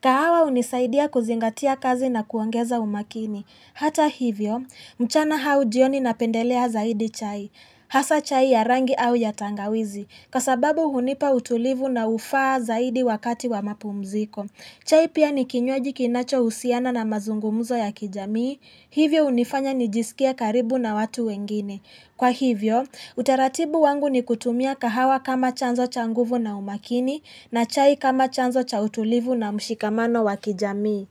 Kahawa hunisaidia kuzingatia kazi na kuongeza umakini. Hata hivyo, mchana au jioni napendelea zaidi chai. Hasa chai ya rangi au ya tangawizi. Kwa sababu hunipa utulivu na hufaa zaidi wakati wa mapumziko. Chai pia ni kinywaji kinachohusiana na mazungumuzo ya kijamii. Hivyo hunifanya nijisikie karibu na watu wengine. Kwa hivyo, utaratibu wangu ni kutumia kahawa kama chanzo cha nguvu na umakini na chai kama chanzo cha utulivu na mshikamano wa kijamii.